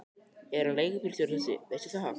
Er hann leigubílstjóri þessi, veistu það?